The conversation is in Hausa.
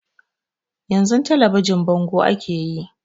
Yan zun talabijin bango ake yayi